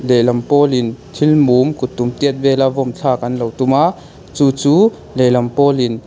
lehlam pawl in thil mum kuttum tiat vel a vawn thlak an lo tum a chu chu lehlam pawl in--